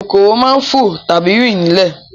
Kòkòrò máa ń fo tàbí rin ní ilẹ̀